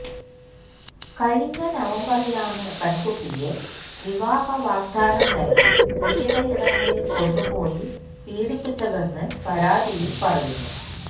കഴിഞ്ഞ നവംബറിലാണ് പെണ്കുട്ടിയെ വിവാവഹ വാഗ്ദാനം നല്കി വിവിധയിടങ്ങളില് കൊണ്ട് പോയി പീഡിപ്പിച്ചതെന്ന് പരാതിയില് പറയുന്നു